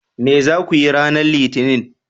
Me za ku yi ranar Litinin?